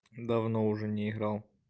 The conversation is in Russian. давно уже не играл